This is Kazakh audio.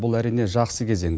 бұл әрине жақсы кезең